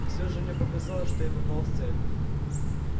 и всё же мне показалось что я попал в цель